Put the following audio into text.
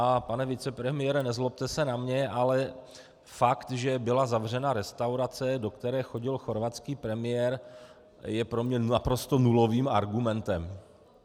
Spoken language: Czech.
A pane vicepremiére, nezlobte se na mě, ale fakt, že byla zavřena restaurace, do které chodil chorvatský premiér, je pro mě naprosto nulovým argumentem.